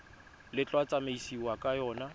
le tla tsamaisiwang ka yona